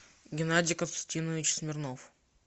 геннадий константинович смирнов